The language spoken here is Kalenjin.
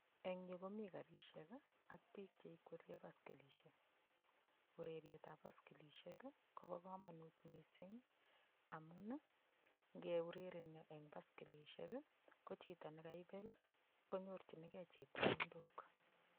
Eng yu komi karishek ak biik cheikwerie baskilishek. Urerietap baskilishek kopo komonut mising amun, nkeurerenyo eng baskilishek, ko chito ne kaipel, konyorchinkei chepkondok.